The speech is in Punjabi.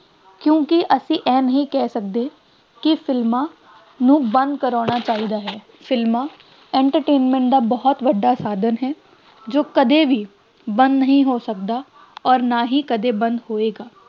ਕਿਉਂਕਿ ਅਸੀਂ ਇਹ ਨਹੀਂ ਕਹਿ ਸਕਦੇ ਕਿ ਸਿਨੇਮਾ ਨੂੰ ਬੰਦ ਕਰਵਾਉਣਾ ਚਾਹੀਦਾ ਸਿਨੇਮਾ entertainment ਦਾ ਬਹੁਤ ਵੱਡਾ ਸਾਧਨ ਹੈ ਜੋ ਕਦੇ ਵੀ ਬੰਦ ਨਹੀਂ ਹੋ ਸਕਦਾ ਅੋਰ ਨਾ ਹੀ ਕਦੇ ਬੰਦ ਹੋਏਗਾ